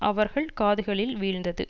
அவர்கள் காதுகளில் வீழ்ந்தது